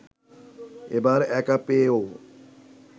এবার একা পেয়েও